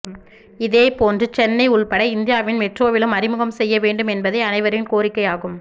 இதேபோன்று சென்னை உள்பட இந்தியாவின் மெட்ரோவிலும் அறிமுகம் செய்ய வேண்டும் என்பதே அனைவரின் கோரிக்கை ஆகும்